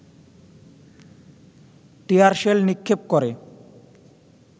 টিয়ার shell নিক্ষেপ করে